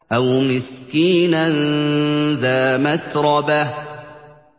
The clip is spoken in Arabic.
أَوْ مِسْكِينًا ذَا مَتْرَبَةٍ